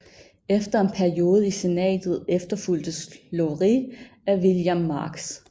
Efter en periode i senatet efterfulgtes Lowrie af William Marks